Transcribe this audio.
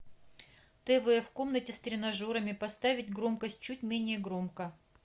тв в комнате с тренажерами поставить громкость чуть менее громко